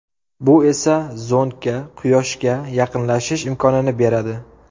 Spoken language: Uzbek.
Bu esa zondga Quyoshga yaqinlashish imkonini beradi.